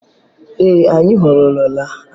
Ee anyị ahọrọla aha.